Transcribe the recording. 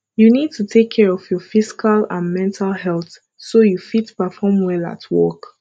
you need to take care of your physical and mental healthso you fit perform well at work